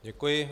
Děkuji.